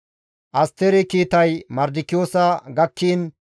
Asteri kiitay Mardikiyoosa gakkiin,